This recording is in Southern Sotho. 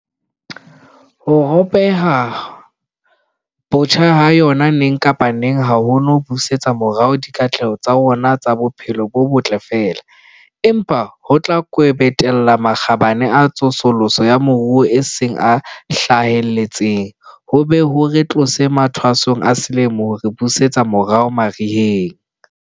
Ho ropoha botjha ha yona neng kapa neng ha ho no busetsa morao dikatleho tsa rona tsa bophelo bo botle feela, empa ho tla kwebetella makgabane a tsosoloso ya moruo a seng a hlahelletse, ho be ho re tlose mathwasong a selemo ho re busetse morao mariheng.